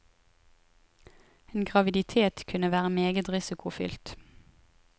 En graviditet kunne være meget risikofylt.